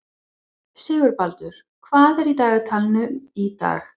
Sigurbaldur, hvað er í dagatalinu í dag?